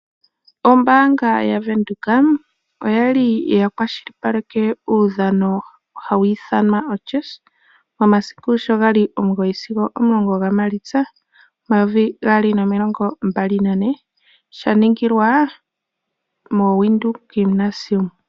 Ombaanga yaVenduka oyali ya kwashilipaleke uudhano hawu ithanwa oChess, momasiku sho gali omugoyi sigo omulongo gaMaalitsa, omayovi gaali nomilongo mbalinane, sha ningilwa moWindhoek Gymnasium.